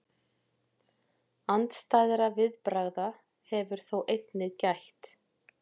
Andstæðra viðbragða hefur þó einnig gætt.